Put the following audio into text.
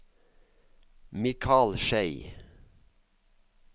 Mikal Schei